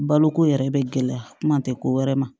Baloko yɛrɛ bɛ gɛlɛya kuma tɛ ko wɛrɛ ma